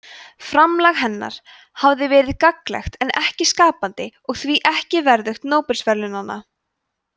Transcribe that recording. framlag hennar hafi verið gagnlegt en ekki skapandi og því ekki verðugt nóbelsverðlaunanna